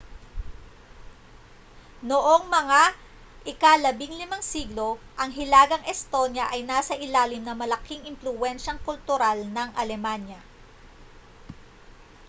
noong mga ika-15 siglo ang hilagang estonia ay nasa ilalim ng malaking impluwensiyang kultural ng alemanya